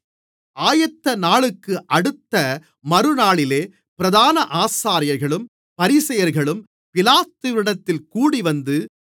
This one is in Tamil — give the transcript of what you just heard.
ஆயத்தநாளுக்கு அடுத்த மறுநாளிலே பிரதான ஆசாரியர்களும் பரிசேயர்களும் பிலாத்துவினிடத்தில் கூடிவந்து